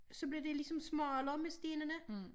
Så blev det ligesom smallere med stenene